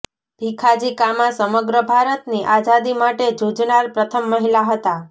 ભીખાજી કામા સમગ્ર ભારતની આઝાદી માટે ઝૂઝનાર પ્રથમ મહિલા હતાં